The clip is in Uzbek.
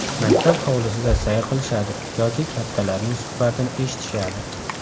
Maktab hovlisida sayr qilishadi yoki kattalarning suhbatini eshitishadi.